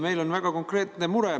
Meil on väga konkreetne mure.